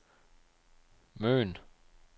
Møn